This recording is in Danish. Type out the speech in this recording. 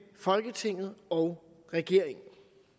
folketinget og regeringen